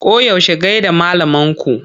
Koyaushe gai da malaman ku!